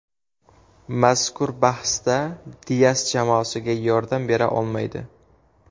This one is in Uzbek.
Mazkur bahsda Dias jamoasiga yordam bera olmaydi.